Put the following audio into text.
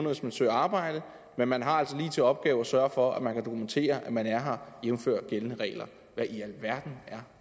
hvis man søger arbejde men man har altså lige til opgave at sørge for at man kan dokumentere at man er her jævnfør gældende regler hvad i alverden er